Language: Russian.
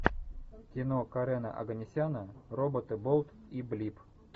кино карена оганесяна роботы болт и блип